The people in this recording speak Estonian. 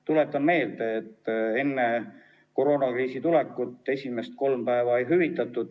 Tuletan meelde, et enne koroonakriisi tulekut esimest kolme haiguspäeva ei hüvitatud.